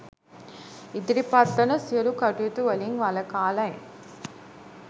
ඉදිරිපත් වන සියලු කටයුතු වලින් වළකාලයි.